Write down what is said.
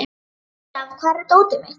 Sigurþóra, hvar er dótið mitt?